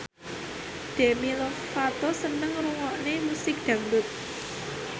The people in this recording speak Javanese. Demi Lovato seneng ngrungokne musik dangdut